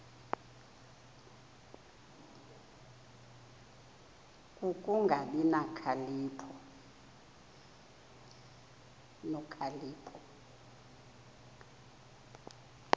ku kungabi nokhalipho